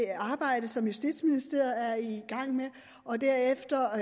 arbejde som justitsministeriet er i gang med og derefter